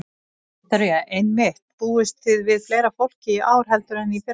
Viktoría: Einmitt, búist þið við fleira fólki í ár heldur en í fyrra?